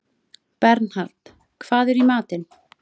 Bernhard, hvað er í matinn?